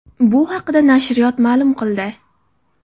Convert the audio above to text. Bu haqda nashriyot ma’lum qildi .